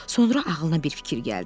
Sonra ağlına bir fikir gəldi.